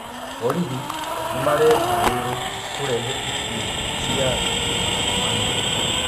Borithi nĩmarakwĩũrwo kũrehe ikuo cia andũ magana mana.